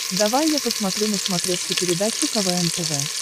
давай я посмотрю на смотрешке передачу квн тв